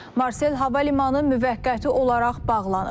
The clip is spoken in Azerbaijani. Marsel Hava Limanı müvəqqəti olaraq bağlanıb.